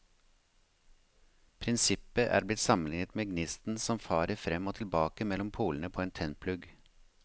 Prinsippet er blitt sammenlignet med gnisten som farer frem og tilbake mellom polene på en tennplugg.